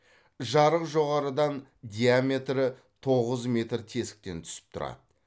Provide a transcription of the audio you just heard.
жарық жоғарыдан диаметрі тоғыз метр тесіктен түсіп тұрады